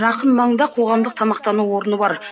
жақын маңда қоғамдық тамақтану орны бар